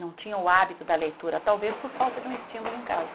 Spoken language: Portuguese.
Não tinham o hábito da leitura, talvez por falta de um estímulo em casa.